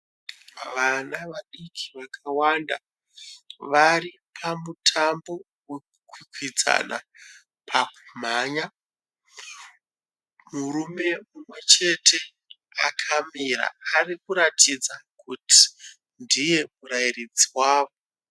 Vana vadiki vakawanda varipamutambo wekukwikwidzana pakumhanya. Murume mumwe chete akamira arikuratidza kuti ndiye murairidzi wavo.